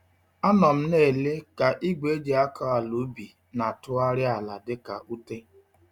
Anọ m nele ka igwe eji-akọ-àlà-ubi na-atụgharị ala dị ka ute.